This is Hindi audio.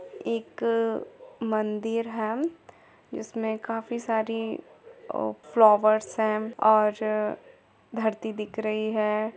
एक मंदिर है जिसमे काफ़ी सारी फ्लावर्स है और धरती दिख रही है।